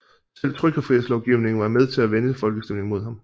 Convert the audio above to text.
Selv trykkefrihedslovgivningen var med til at vende folkestemningen imod ham